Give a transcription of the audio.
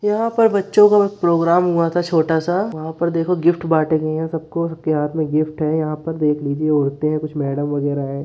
यहाँ पर बच्चों काो प्रोग्राम हुआ था छोटा-सा। वहाँ पर देखो गिफ्ट बाँट रहे हैं सबको। सबके हाथ में गिफ्ट हैं यहाँ पर देख लीजिये होते हैं कुछ मैडम वगेरा हैं।